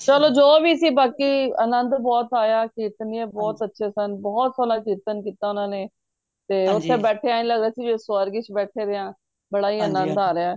ਚਲੋ ਜੋ ਵੀ ਸੀ ਬਾਕੀ ਆਨੰਦ ਬਹੁਤ ਆਯਾ ਸੀ ਕੀਰਤਨੀਏ ਬਹੁਤ ਅੱਛੇ ਸਨ ਬਹੁਤ ਸੋਹਣਾ ਕੀਰਤਨ ਕੀਤਾ ਓਹਨਾ ਨੇ ਤੇ ਓਥੇ ਬੈਠੇ ਇੰਝ ਲੱਗ ਰੇਯਾ ਸੀ ਜਿਵੇ ਸਵਰਗ ਵਿਚ ਬੈਠੇ ਦੇ ਆ ਬੜਾ ਹੀ ਆਨੰਦ ਆ ਰੇਯਾ